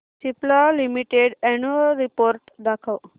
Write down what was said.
Cipla limited annual report दाखव